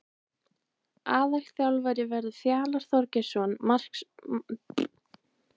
Aðalþjálfari verður Fjalar Þorgeirsson markmannsþjálfari Stjörnunnar og Íþróttafræðingur.